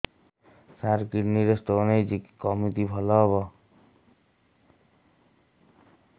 ସାର kidney ରେ stone ହେଇଛି କମିତି ଭଲ ହେବ